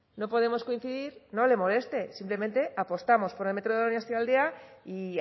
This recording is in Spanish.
no podemos coincidir no le moleste simplemente apostamos por el metro de donostialdea y